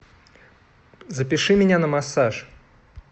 запиши меня на массаж